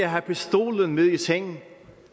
at have pistolen med i seng